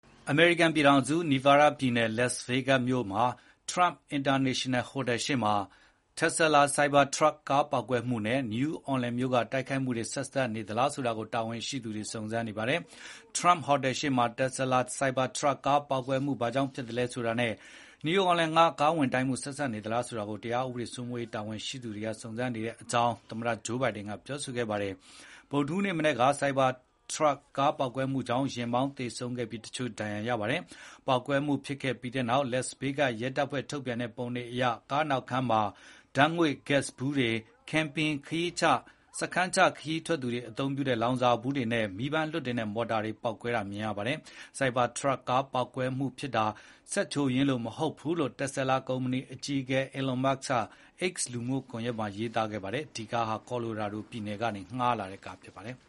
အမေရိကန်ပြည်ထောင်စု Nevada ပြည်နယ် Las Vegas မြို့က Trump International ဟိုတယ်ရှေ့မှာ Tesla Cybertruck ကားပေါက်ကွဲမှုနဲ့ New Orleans မြို့ကတိုက်ခိုက်မှု ဆက်စပ်နေသလားဆိုတာ တာဝန်ရှိသူတွေ စုံစမ်းနေပါတယ်။ Trump ဟိုတယ်ရှေ့မှာ Tesla Cybertruck ကားပေါက်ကွဲမှု ဘာကြောင့်ဖြစ်သလဲဆိုတာနဲ့ New Orleans မြို့က ကားနဲ့ဝင်တိုက်မှု ဆက်စပ်နေသလားဆိုတာ တရားဥပဒေစိုးမိုးရေးတာဝန်ရှိသူတွေ စုံစမ်းနေတယ်လို့ သမ္မတ Joe Biden ကပြောကြားခဲ့ပါတယ်။ ဗုဒ္ဓဟူးနေ့မနက်က Cybertruck ကား ပေါက်ကွဲမှုကြောင့် ယာဉ်မောင်းသေဆုံးခဲ့ပြီး တချို့ ဒဏ်ရာရခဲ့ပါတယ်။ ပေါက်ကွဲမှုဖြစ်ခဲ့ပြီးနောက် Las Vegas ရဲတပ်ဖွဲ့ထုတ်ပြန်တဲ့ပုံတွေအရ ကားနောက်ခန်းမှာ Gas ဗူးတွေ၊ Camping စတည်းချ ခရီးထွက်သူတွေသုံးတဲ့ လောင်စာဗူးတွေနဲ့ မီးပန်းလွှတ်တင်တဲ့ မော်တာတွေ ပေါက်ကွဲနေတာ မြင်ရပါတယ်။ Cybertruck ကားပေါက်ကွဲမှုဖြစ်တာဟာ စက်ချွတ်ယွင်းလို့ မဟုတ်ဘူးလို့ Telsa ကုမ္ပဏီအကြီးအကဲ Elon Musk က X လူမှုကွန်ရက်ပေါ်မှာ ရေးတင်ခဲ့ပါတယ်။ ဒီကားဟာ Colorado ပြည်နယ်ကနေ ငှားလာတဲ့ကားဖြစ်ပါတယ်။